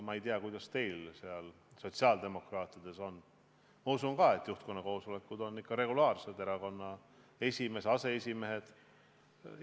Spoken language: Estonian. Ma ei tea, kuidas teil sotsiaaldemokraatide hulgas on, aga ma usun, et juhtkonna koosolekud on ikka regulaarsed, kohale tulevad erakonna esimees ja aseesimehed.